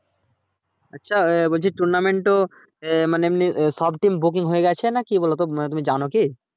আচ্ছা বলছি tournament ও মানে এমনি সব team booking হয়ে গাছে না কি বলতো তুমি জানো কি?